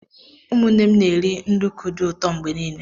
Ụmụnne m na-eri nduku dị ụtọ mgbe niile.